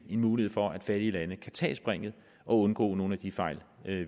en mulighed for at fattige lande kan tage springet og undgå nogle af de fejl